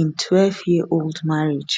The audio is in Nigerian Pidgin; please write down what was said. im 12yearold marriage